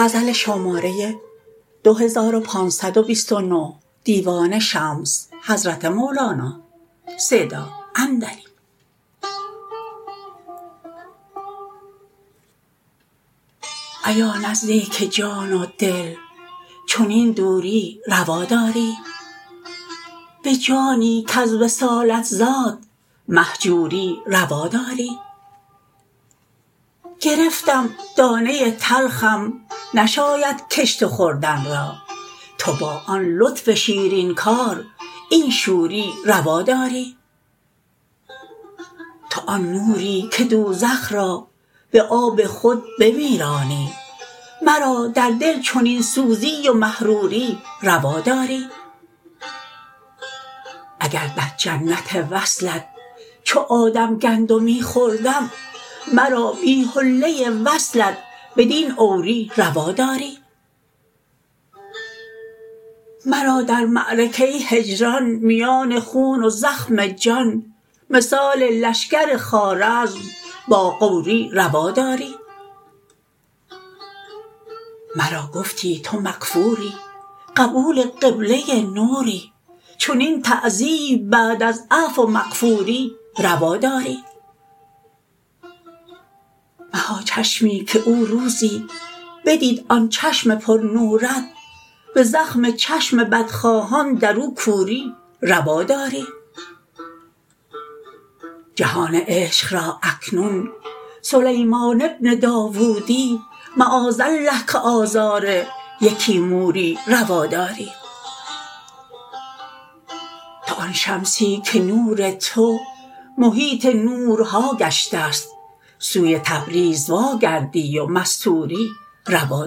ایا نزدیک جان و دل چنین دوری روا داری به جانی کز وصالت زاد مهجوری روا داری گرفتم دانه تلخم نشاید کشت و خوردن را تو با آن لطف شیرین کار این شوری روا داری تو آن نوری که دوزخ را به آب خود بمیرانی مرا در دل چنین سوزی و محروری روا داری اگر در جنت وصلت چو آدم گندمی خوردم مرا بی حله وصلت بدین عوری روا داری مرا در معرکه هجران میان خون و زخم جان مثال لشکر خوارزم با غوری روا داری مرا گفتی تو مغفوری قبول قبله نوری چنین تعذیب بعد از عفو و مغفوری روا داری مها چشمی که او روزی بدید آن چشم پرنورت به زخم چشم بدخواهان در او کوری روا داری جهان عشق را اکنون سلیمان بن داوودی معاذالله که آزار یکی موری روا داری تو آن شمسی که نور تو محیط نورها گشته ست سوی تبریز واگردی و مستوری روا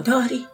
داری